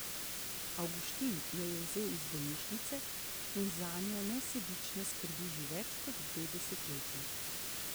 Avguštin jo je vzel iz bolnišnice in zanjo nesebično skrbi že več kot dve desetletji.